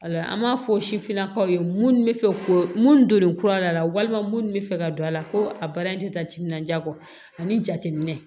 Wala an b'a fɔ sifinnakaw ye mun bɛ fɛ ko mun don kura la walima mun bɛ fɛ ka don a la ko a baara in tɛ taa timinanja kɔ ani jateminɛ